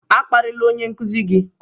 A kparịla onye nkuzi gị!